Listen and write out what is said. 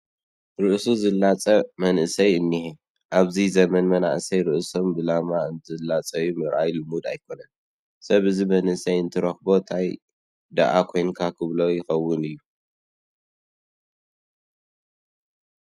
ርእሱ ዝላፀይ መእሰይ እኒሀ፡፡ ኣብዚ ዘመን መናእሰያት ርእሶም ብላማ እንትላፀዩ ምርኣይ ልሙድ ኣይኮነን፡፡ ሰብ ነዚ መንእሰይ እንትረኽቦ ታይ ደኣ ኮይንካ ክብሎ ይኸውን እዩ፡፡